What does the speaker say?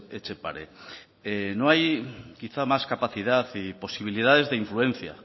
etxepare no hay quizá más capacidad y posibilidades de influencia